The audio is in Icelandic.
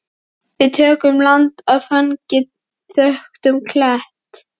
Við tökum land á þangi þöktum kletti.